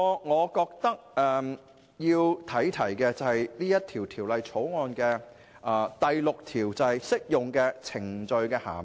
我要提出的另一點，是《條例草案》第6條所訂的"適用程序的涵義"。